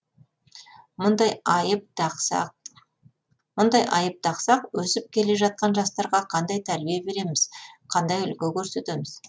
мұндай айып тақсақ өсіп келе жатқан жастарға қандай тәрбие береміз қандай үлгі көрсетеміз